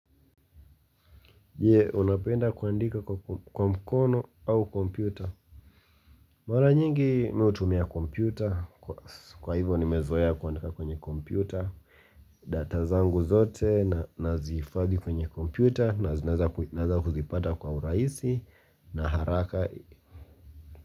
Je, unapenda kuandika kwa mkono au kompyuta? Mara nyingi mi hutumia kompyuta, kwa hivyo nimezoea kuandika kwenye kompyuta. Data zangu zote nazihifadhi kwenye kompyuta na naweza kuzipata kwa urahisi na haraka.